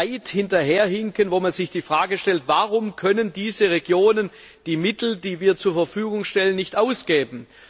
weit hinterherhinken, wo man sich die Frage stellt Warum können diese Regionen die Mittel, die wir zur Verfügung stellen, nicht ausgeben?